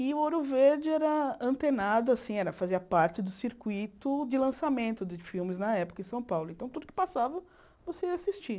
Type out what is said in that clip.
E o Ouro Verde era antenado assim, fazia parte do circuito de lançamento de filmes na época em São Paulo, então tudo que passava você ia assistir.